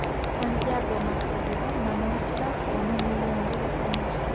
Santyago markazida namoyishchilar soni millionga yaqinlashdi.